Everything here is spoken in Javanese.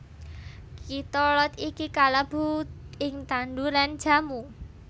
Kitolod iki kalebu ing tanduran jamu